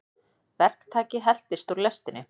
Verktaki heltist úr lestinni